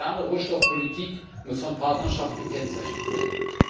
Eine moderne Rohstoffpolitik muss von Partnerschaft gekennzeichnet sein.